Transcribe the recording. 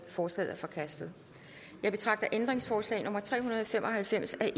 forslaget er forkastet jeg betragter ændringsforslag nummer tre hundrede og fem og halvfems af